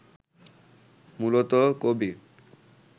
মূলত: কবি